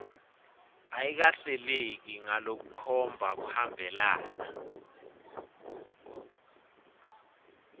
ayikahleleki ngalokukhomba kuhambelana